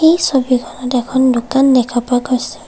এই ছবিখনত এখন দোকান দেখা পোৱা গৈছে।